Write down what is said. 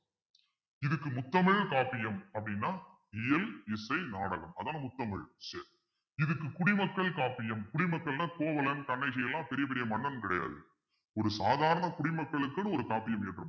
இதுக்கு முத்தமிழ் காப்பியம் அப்பிடின்னா இயல் இசை நாடகம் அதுதானே முத்தமிழ் சரி இதுக்கு குடிமக்கள் காப்பியம் குடிமக்கள்ன்னா கோவலன் கண்ணகி எல்லாம் பெரிய பெரிய மன்னன் கிடையாது ஒரு சாதாரண குடிமக்களுக்குன்னு காப்பியம் இருக்கும்